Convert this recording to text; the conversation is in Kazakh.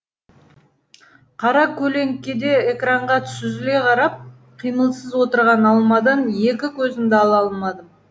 қаракөлеңкеде экранға сүзіле қарап қимылсыз отырған алмадан екі көзімді ала алмадым